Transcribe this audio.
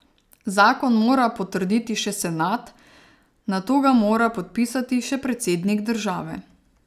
Zakon mora potrditi še senat, nato ga mora podpisati še predsednik države.